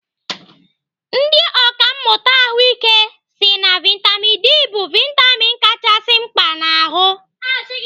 Ndị ọkàmmụta ahụike si na vitamin D bụ vitamin kachasị mkpa n'ahụ.